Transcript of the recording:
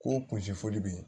K'o kunsi fɔli bɛ ye